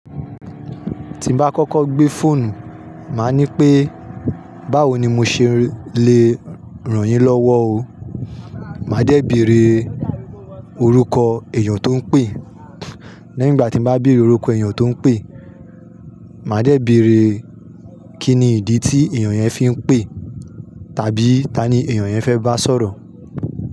Tí n bá kọ́kọ́ gbé fóònù, màá ní pé, báwo ni mó ṣe lè ràn yín lọ́wọ́ o. Màá dé bèree orúkọ èyàn tó n pè. Léyìn ìgbà tí n bá bí orúkọ èyàn tó n pè, màá dé bère kínni ìdí tí èyàn yẹn fi ń pè, tàbí tani èyàn yẹn fẹ́ bá sọ̀rọ̀.